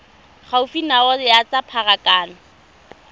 gaufi nao ya tsa pharakano